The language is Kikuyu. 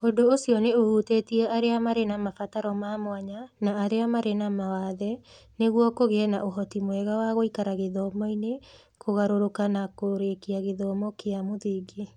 Ũndũ ũcio nĩ ũhutĩtie arĩa marĩ na mabataro ma mwanya na arĩa marĩ na mawathe, nĩguo kũgĩe na ũhoti mwega wa gũikara gĩthomo-inĩ, kũgarũrũka na kũrĩkia gĩthomo kĩa mũthingi.